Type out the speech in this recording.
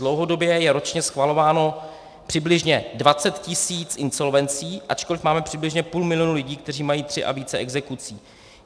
Dlouhodobě je ročně schvalováno přibližně 20 tis. insolvencí, ačkoliv máme přibližně půl milionu lidí, kteří mají tři a více exekucí.